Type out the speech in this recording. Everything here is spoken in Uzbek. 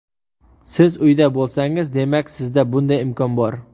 Siz uyda bo‘lsangiz, demak, sizda bunday imkon bor.